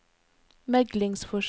meglingsforsøk